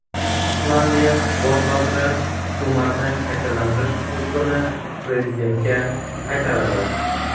Islandiya bosh vaziri hukumatni shakllantirish huquqini prezidentga qaytaradi.